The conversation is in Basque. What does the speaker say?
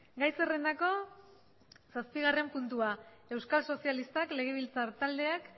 gai zerrendako zazpigarren puntua euskal sozialistak legebiltzar taldeak